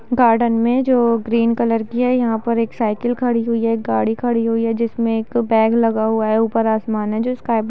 garden मे जो green colour की है यहाँ पर एक साइकिल खड़ी हुई है एक गाड़ी खड़ी हुई है जिसमे एक बैग लगा हुआ है ऊपर आसमान है जो स्काई --